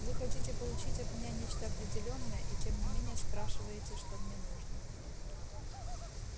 вы хотите получить от меня нечто определённое и тем не менее спрашиваете что мне нужно